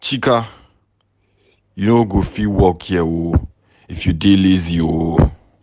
Chika you no go fit work here if you dey lazy oo